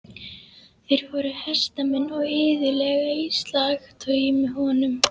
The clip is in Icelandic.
Þeir voru hestamenn og iðulega í slagtogi með honum.